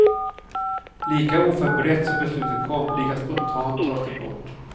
Lika oförberett som beslutet kom, lika spontant tas det bort.